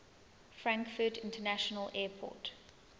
frankfurt international airport